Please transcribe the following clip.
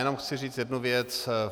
Jenom chci říct jednu věc.